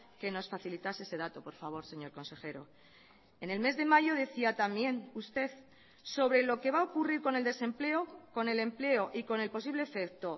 que nos facilitase ese dato por favor señor consejero en el mes de mayo decía también usted sobre lo que va a ocurrir con el desempleo con el empleo y con el posible efecto